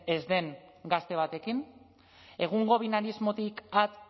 ez den gazte batekin egungo binarismotik at